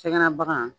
Sɛgɛnna bagan